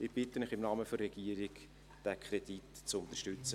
Ich bitte Sie im Namen der Regierung, diesen Kredit zu unterstützen.